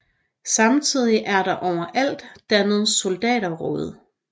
Samtidig blev der overalt dannet soldaterråd